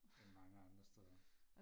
end mange andre steder